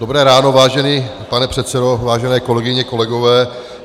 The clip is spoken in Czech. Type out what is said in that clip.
Dobré ráno, vážený pane předsedo, vážené kolegyně, kolegové.